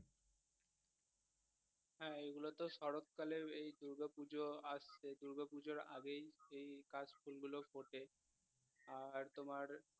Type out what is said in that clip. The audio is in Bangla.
হ্যা এগুলোতে শরৎ কালের আহ এই দুর্গো পুজো আসছে দুর্গো পুজোর আগেই এই কাশফুল গুলো ফুটে আর তোমার